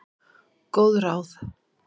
Góð ráð?